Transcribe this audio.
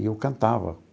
E eu cantava.